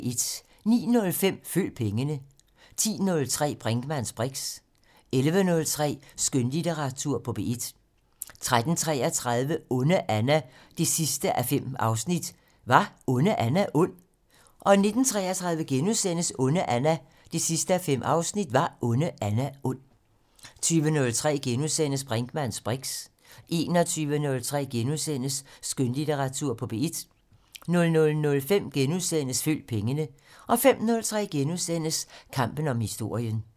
09:05: Følg pengene 10:03: Brinkmanns briks 11:03: Skønlitteratur på P1 13:33: Onde Anna 5:5 - Var Onde Anna ond? 19:33: Onde Anna 5:5 - Var Onde Anna ond? * 20:03: Brinkmanns briks * 21:03: Skønlitteratur på P1 * 00:05: Følg pengene * 05:03: Kampen om historien *